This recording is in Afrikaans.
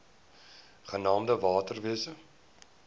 genaamd water wise